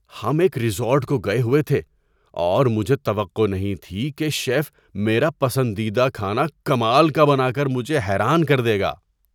ہم ایک ریزورٹ کو گئے ہوئے تھے اور مجھے توقع نہیں تھی کہ شیف میرا پسندیدہ کھانا کمال کا بنا کر مجھے حیران کر دے گا۔